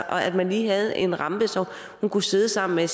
at man lige havde en rampe så hun kunne sidde sammen med